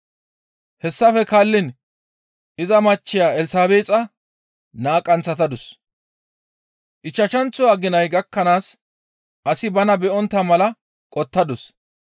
Hessafe guye iza machcheya Elsabeexa naa qanththatadus, ichchashanththo aginay gakkanaas asi bana be7ontta mala qotettadus.